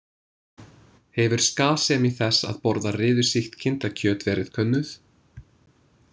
Hefur skaðsemi þess að borða riðusýkt kindakjöt verið könnuð?